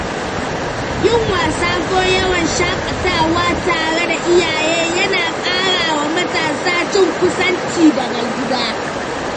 Yin wasa ko yawon shakatawa tare da iyaye yana ƙarawa matasa jin kusanci da gida.